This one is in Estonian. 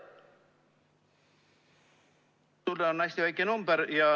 Sulle on see hästi väike number.